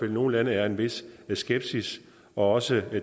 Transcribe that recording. i nogle lande er en vis skepsis og også